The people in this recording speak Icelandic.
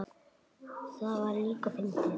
Það var líka fyndið.